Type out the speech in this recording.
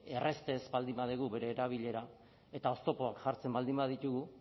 errazte ez baldin badugu bere erabilera eta oztopoak jartzen baldin baditugu